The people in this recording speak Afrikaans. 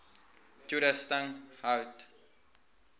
toerusting hout